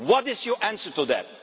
What is your answer to that?